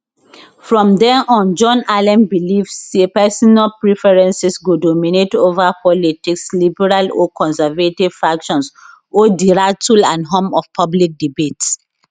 from den on john allen believe say personal preference go dominate ova politics liberal or conservative factions or di rattle and hum of public debate